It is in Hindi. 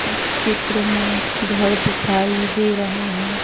इस चित्र में घर दिखाई दे रहे हैं।